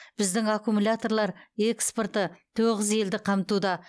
біздің аккумуляторлар экспорты тоғыз елді қамтуда